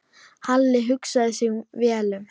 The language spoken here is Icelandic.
Halli hugsaði sig vel um.